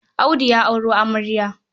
Audu ya auro amarya.